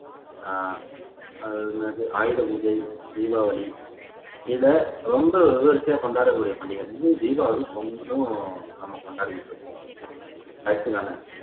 அஹ் அது என்னது ஆயுத பூஜை தீபாவளி இதை ரொம்ப விமரிசையா கொண்டாடக்கூடிய பண்டிகை வந்து தீபாவளி பொங்கலும் நம்ம கொண்டாடிட்டு இருக்கோம் correct தான